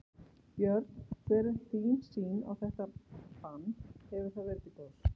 Björn: Hver er þín sýn á þetta bann, hefur það verið til góðs?